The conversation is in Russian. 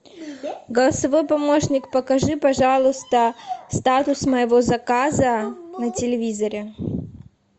голосовой помощник покажи пожалуйста статус моего заказа на телевизоре